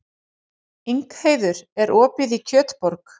Ingheiður, er opið í Kjötborg?